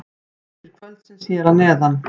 Leikir kvöldsins hér að neðan: